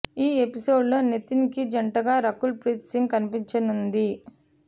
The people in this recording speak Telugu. ఈ ఎపిసోడ్ లో నితిన్ కి జంటగా రకుల్ ప్రీత్ సింగ్ కనిపించనుంది